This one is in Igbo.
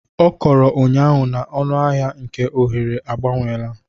Ọ kọrọ ụnyaahụ na ọnụahịa nke oghere agbanweela